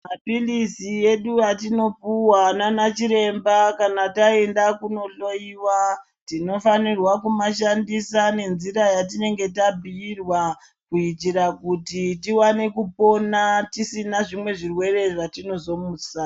Maphilizi edu atinopuwa nanachiremba kana taenda kunohloyiwa, tinofanirwa kumashandisa nenzira yatinga tabhuyirwa, kuitira kuti tiwane kupona tisina zvimwe zvirwere zvatinozomusa.